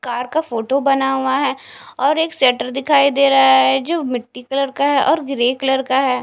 Car का photo बना हुआ है और एक शटर दिखाई दे रहा है जो मिट्टी कलर का है और ग्रे कलर का है।